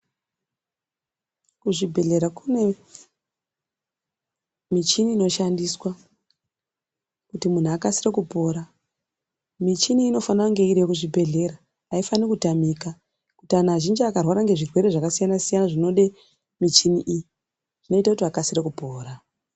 Kuzvibhehlera kune michini inoshandiswa kuti munhu akasire kupora. Michini iyi inofanira kunge iriyo kuzvibhehlera, haifani kutamika, kuti anhu azhinji akarwara ngezvirwere zvakasiyana-siyana zvinode michini iyi zvinoita kuti vakasire kupora.